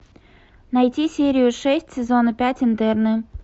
найти серию шесть сезона пять интерны